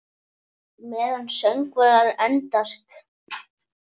Meðan söngvar endast